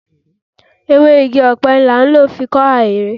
Ewé igi ọ̀pẹ ni a ń lò fi kọ́ ahéré.